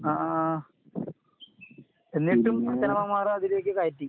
അഹ് ആഹ്. എന്നിട്ടും അച്ഛനമ്മമാരതിലേക്ക് കയറ്റി.